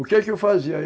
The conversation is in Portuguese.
O que é que eu fazia?